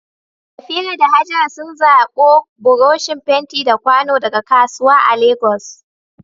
Safira da Hajara sun zabo buroshin fenti da kwano daga kasuwa a Legas.